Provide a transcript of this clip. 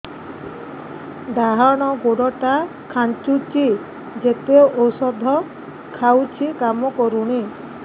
ଡାହାଣ ଗୁଡ଼ ଟା ଖାନ୍ଚୁଚି ଯେତେ ଉଷ୍ଧ ଖାଉଛି କାମ କରୁନି